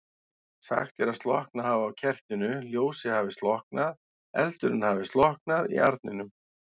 Sagt er að slokknað hafi á kertinu, ljósið hafi slokknað, eldurinn hafi slokknað í arninum.